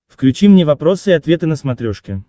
включи мне вопросы и ответы на смотрешке